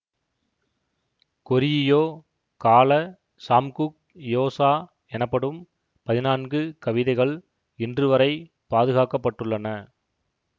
கொரியியோ காலச் சாம்குக் யோசா எனப்படும் பதினான்கு கவிதைகள் இன்றுவரை பாதுகாக்க பட்டுள்ளன